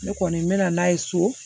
Ne kɔni mɛna n'a ye so